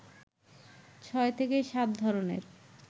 ছয় থেকে সাত ধরনের